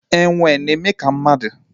Enwe na-eme ka mmadu